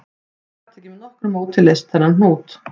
Hann gat ekki með nokkru móti leyst þennan hnút